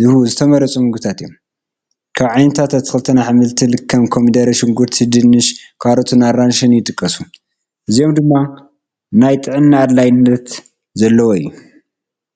ዝህቡ ዝተመረፁ ምግብታት እዮም፡፡ ካብ ዓይነታት ኣትክልትን ኣሕምልትን ከም ኮሚደረን፣ ሽጉርትን፣ ድንሽን፣ ካሮትን ኣራንሽን ይጥቀሱ፡፡ እዚኦም ድማ ናይ ጥዕና ኣድላይነት ዘለዎ እዩ፡፡